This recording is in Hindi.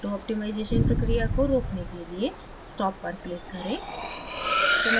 auto optimization प्रक्रिया को रोकने के लिए stop पर click करें